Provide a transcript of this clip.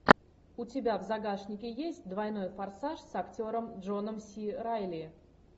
у тебя в загашнике есть двойной форсаж с актером джоном си райли